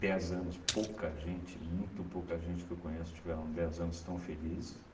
Dez anos pouca gente, muito pouca gente que eu conheço tiveram dez anos tão felizes.